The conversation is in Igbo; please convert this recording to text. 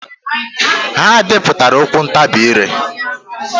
Ha depụtara okwu ntabi ire.